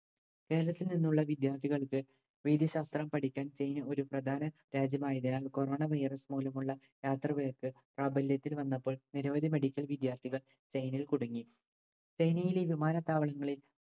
കേരളത്തിൽ നിന്നുള്ള വിദ്യാർത്ഥികൾക്ക് വൈദ്യശാസ്ത്രം പഠിക്കാൻ ചൈന ഒരു പ്രധാന രാജ്യമായതിനാൽ corona virus മൂലമുള്ള യാത്രാവിലക്ക് പ്രാബല്യത്തിൽ വന്നപ്പോൾ നിരവധി medical വിദ്യാർത്ഥികൾ ചൈനയിൽ കുടുങ്ങി. ചൈനയിലെ വിമാനത്താവളങ്ങളിൽ